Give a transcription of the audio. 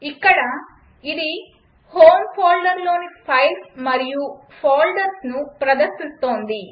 ఇక్కడ అది హోమ్ ఫోల్డర్లోని ఫైల్స్ మరియు ఫోల్డర్స్ను ప్రదర్శిస్తోంది